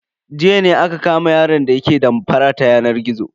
Jiya ne aka kama yaron da yake damfara ta yanar gizo.